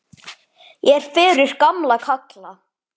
Ég er fyrir gamla kalla.